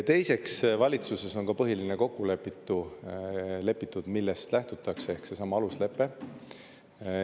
Teiseks, valitsuses on ka põhiline kokku lepitud, millest lähtutakse, ehk seesama aluslepe.